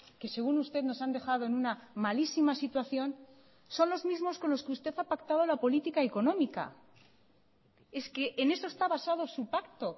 que según usted nos han dejado en una malísima situación son los mismos con los que usted ha pactado la política económica es que en eso está basado su pacto